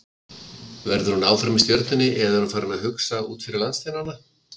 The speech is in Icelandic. Verður hún áfram í Stjörnunni eða er hún farin að hugsa út fyrir landsteinana?